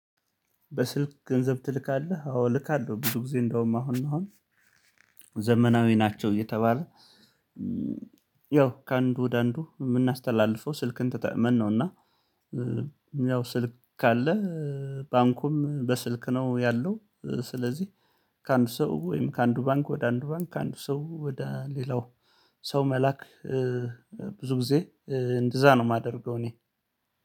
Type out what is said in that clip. በስልክ ገንዘብ ትልካለህ አዎ እልካለሁ ብዙ ጊዜ እንደውም አሁን አሁን ዘመናዊ ናቸው እየተባለ ያው ከአንዱ ወደ አንዱ የምናስተላልፈው ስልክን ተጠቅመን ነው። እና ያው ስልክ ካለህ ባንኩም በስልክ ነው ያለው። ስለዚህ ከአንድ ሰው ወይም ከአንዱ ባንክ ወደ አንዱ ባንክ ከአንድ ሰው ወደ ሌላው ሰው መላክ። ብዙ ጊዜ እንደዛ ነው የማደርገው። እኔ